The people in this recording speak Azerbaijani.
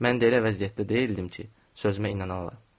Mən elə vəziyyətdə deyildim ki, sözümə inanalar.